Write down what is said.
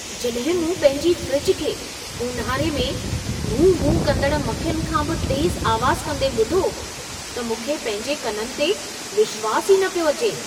जॾहिं मूं पंहिंजी फ्रिज खे, ऊन्हारे में भूं-भूं कंदड़ मखियुनि खां बि तेज़ आवाज़ कंदे ॿुधो, त मूंखे पंहिंजे कननि ते विश्वास ई न पियो अचे!